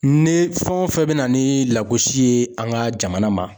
Ne fɛn o fɛn bɛ na ni lagosi ye an ka jamana ma.